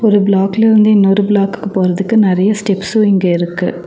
ஒரு பிளாக்ல இருந்து இன்னொரு பிளாக்கு போறதுக்கு நெறையா ஸ்டெப்ஸ்ஸு இங்க இருக்கு.